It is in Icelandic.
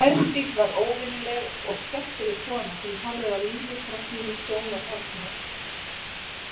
Herdís var óvenjuleg og skemmtileg kona sem horfði á lífið frá sínu sjónarhorni.